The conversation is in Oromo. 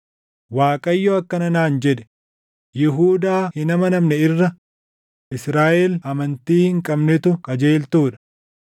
Waaqayyo akkana naan jedhe; “Yihuudaa hin amanamne irra Israaʼel amantii hin qabnetu qajeeltuu dha.